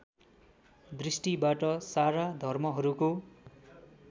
दृष्टिबाट सारा धर्महरूको